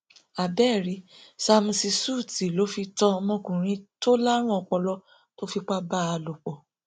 àbẹẹrí sámúsì ṣúùtì ló fi tan ọmọkùnrin tó lárùn ọpọlọ tó fi fipá bá a lò pọ